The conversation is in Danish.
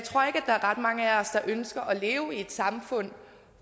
ret mange af os der ønsker at leve i et samfund